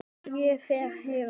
Ég fer héðan.